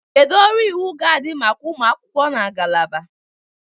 Kedu ọrụ iwu ga-adị maka ụmụ akwụkwọ na ngalaba?